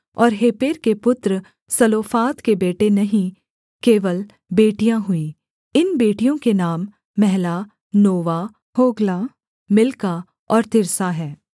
और हेपेर के पुत्र सलोफाद के बेटे नहीं केवल बेटियाँ हुईं इन बेटियों के नाम महला नोवा होग्ला मिल्का और तिर्सा हैं